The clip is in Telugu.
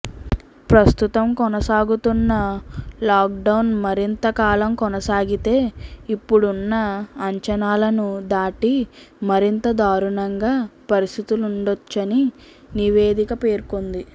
ప్రస్తుతం కొనసాగుతున్న లాక్డౌన్ మరింత కాలం కొనసాగితే ఇప్పుడున్న అంచనాలను దాటి మరింత దారుణంగా పరిస్థితులుండొచ్చని నివేదిక పేర్కొంది